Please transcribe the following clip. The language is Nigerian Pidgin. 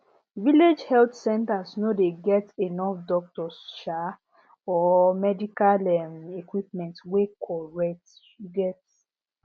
village health centers no dey get enough doctors um or medical um equipment wey correct um